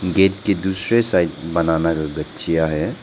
Gate के दूसरे side banana का गछिया है।